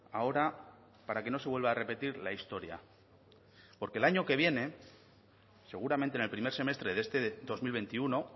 ahora para que no se vuelva a repetir la historia porque el año que viene seguramente en el primer semestre de este dos mil veintiuno